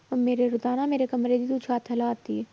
ਮੇਰੇ ਤੂੰ ਤਾਂ ਹਨਾ ਮੇਰੇ ਕਮਰੇ ਦੀ ਤੂੰ ਛੱਤ ਹਿਲਾ ਤੀ ਹੈ